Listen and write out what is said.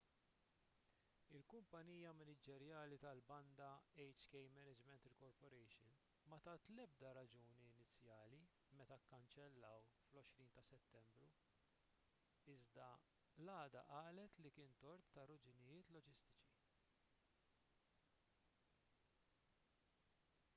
il-kumpanija maniġerjali tal-banda hk management inc ma tat l-ebda raġuni inizjali meta kkanċellaw fl-20 ta' settembru iżda l-għada qalet li kien tort ta' raġunijiet loġistiċi